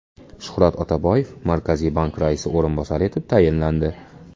Shuhrat Otaboyev Markaziy bank raisi o‘rinbosari etib tayinlandi.